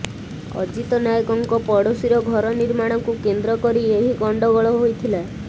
ଅଜିତ ନାୟକଙ୍କ ପଡ଼ୋଶୀର ଘର ନିର୍ମାଣକୁ କେନ୍ଦ୍ର କରି ଏହି ଗଣ୍ଡଗୋଳ ହୋଇଥିଲା